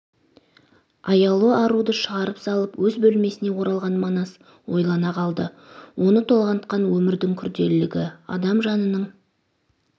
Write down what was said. аяулы аруды шығарып салып өз бөлмесіне оралған манас ойлана қалды оны толғантқан өмірдің күрделілігі адам жанының